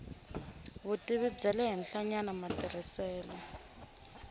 vutivi bya le henhlanyana matirhiselo